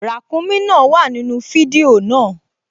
Ràǹkúnmí náà wà nínú fídíò náà